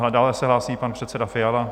Dále se hlásí pan předseda Fiala.